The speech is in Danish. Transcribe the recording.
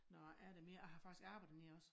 Nå er der mere jeg har faktisk arbeddet dernede også